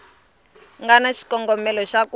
nga na xikongomelo xa ku